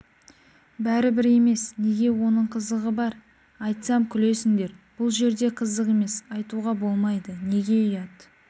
бәрібір емес неге оның қызығы бар айтсам күлесіңдер бұл жерде қызық емес айтуға болмайды неге ұят